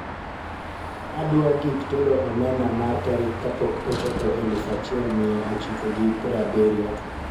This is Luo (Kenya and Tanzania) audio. adwa gik tedo omena mar tarik kapok ochopo eluf achiel mia ochiko gi prabirio